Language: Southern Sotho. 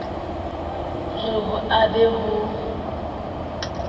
re ho a be ho